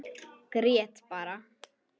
Grét bara.